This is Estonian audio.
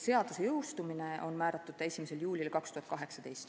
Seadus peaks jõustuma 1. juulil 2018.